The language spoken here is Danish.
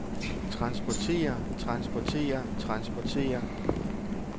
transportere transportere transportere